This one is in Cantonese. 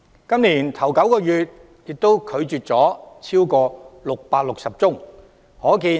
今年首9個月也拒絕了超過660宗申請。